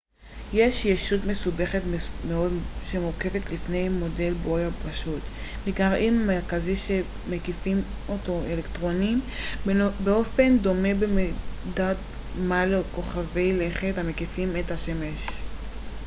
זו ישות מסובכת מאוד שמורכבת לפי מודל בוהר פשוט מגרעין מרכזי שמקיפים אותו אלקטרונים באופן דומה במידת מה לכוכבי לכת המקיפים את השמש ראו תרשים 1.1